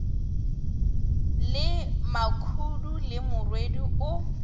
le makhudu le morwedi o